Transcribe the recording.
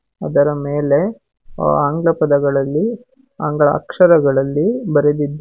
ಅದರ ಮೇಲೆ ಆಂಗ್ಲ ಪದಗಳಲ್ಲಿ ಆಂಗ್ಲ ಅಕ್ಷರಗಳಲ್ಲಿ ಬರೆದಿದ್ದು--